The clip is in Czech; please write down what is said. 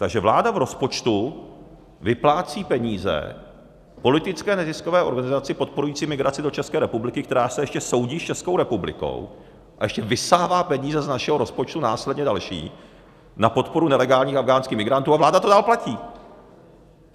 Takže vláda v rozpočtu vyplácí peníze politické neziskové organizaci podporující migraci do České republiky, která se ještě soudí s Českou republikou, a ještě vysává peníze z našeho rozpočtu následně další na podporu nelegálních afghánských migrantů, a vláda to dál platí!